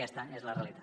aquesta és la realitat